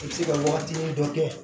I bɛ se ka waagatinin dɔ kɛ